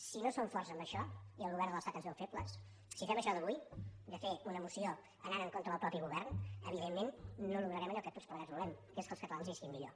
si no som forts en això i el govern de l’estat ens veu febles si fem això d’avui de fer una moció anant en contra del mateix govern evidentment no aconseguirem allò que tots plegats volem que és que els catalanes visquin millor